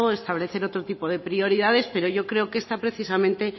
establecer otro tipo de prioridades pero yo creo que esta precisamente